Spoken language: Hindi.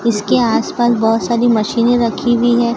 इसके आस पास बहोत सारी मशीने रखी हुई है।